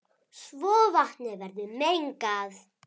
svo vatnið verður mengað.